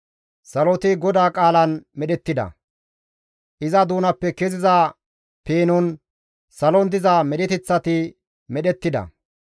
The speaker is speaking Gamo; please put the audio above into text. Saloti GODAA qaalan medhettida. Iza doonappe keziza peenon salon diza medheteththati medhettida.